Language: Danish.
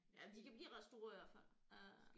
Ja de kan blive ret store i hvert fald øh